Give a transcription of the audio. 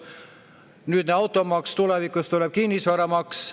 Nüüd siis automaks, tulevikus tuleb kinnisvaramaks.